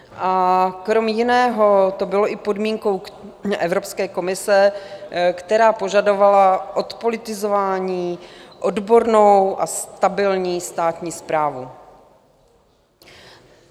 A krom jiného, to bylo i podmínkou Evropské komise, která požadovala odpolitizování, odbornou a stabilní státní správu.